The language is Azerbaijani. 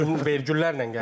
Gəlirəm, vergüllərlə gəlirəm.